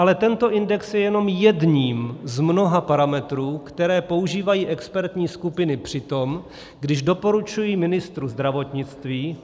Ale tento index je jenom jedním z mnoha parametrů, které používají expertní skupiny při tom, když doporučují ministru zdravotnictví.